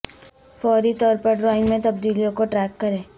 فوری طور پر ڈرائنگ میں تبدیلیوں کو ٹریک کریں